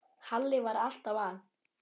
Halli var alltaf að.